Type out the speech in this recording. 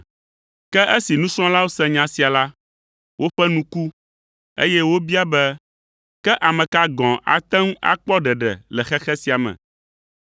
Ke esi nusrɔ̃lawo se nya sia la, woƒe nu ku, eye wobia be, “Ke ame ka gɔ̃ ate ŋu akpɔ ɖeɖe le xexe sia me?”